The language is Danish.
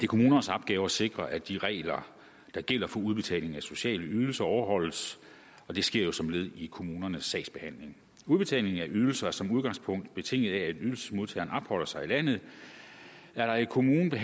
kommunernes opgave at sikre at de regler der gælder for udbetaling af sociale ydelser overholdes og det sker som led i kommunernes sagsbehandling udbetaling af ydelser er som udgangspunkt betinget af at ydelsesmodtageren opholder sig i landet er der i kommunen